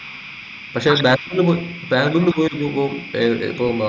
പക്ഷെ പോയി പോയിരിക്കുമ്പോ ഏർ ഇപ്പൊ